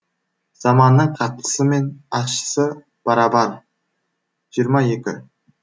заманның қаттысы мен ащысы барабар жиырма екі